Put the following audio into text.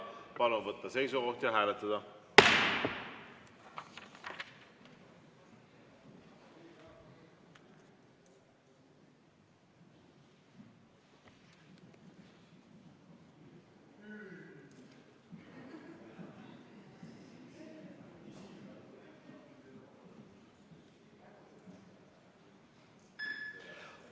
Palun võtta seisukoht ja hääletada!